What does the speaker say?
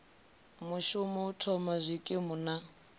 vhashumi u thoma zwikimu na